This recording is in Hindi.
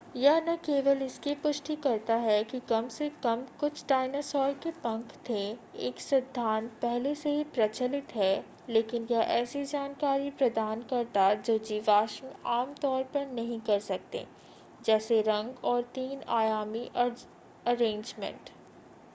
यह न केवल इसकी पुष्टि करता है कि कम से कम कुछ डायनासोर के पंख थे एक सिद्धांत पहले से ही प्रचलित है लेकिन यह ऐसी जानकारी प्रदान करता जो जीवाश्म आमतौर पर नहीं कर सकते जैसे रंग और तीन आयामी अरेंजमेंट